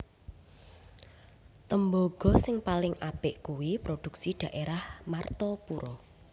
Tembogo sing paling apik kui produksi daerah Martapura